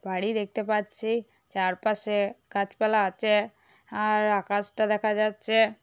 বাড়ি দেখতে পাচ্ছি চারপাশে গাছপালা আছে আর আকাশটা দেখা যাচ্ছে।